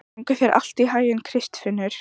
Gangi þér allt í haginn, Kristfinnur.